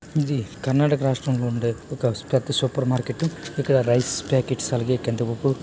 ఇది కర్ణాటక ర్రాష్ట్రం లో ఉండె ఒక పెద్ద సూపర్ మార్కెట్ ఇక్కడ రైస్ పాకెట్స్ కందిపప్పు --